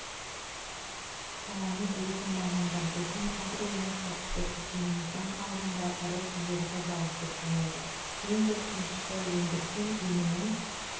саланы білетін мамандар біздің агроөнеркәсіптік кешеніміздің алдында ірі кедергі бар деп санайды ең біріншісі өндірген өнімін